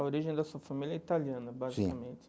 A origem da sua família italiana, sim basicamente.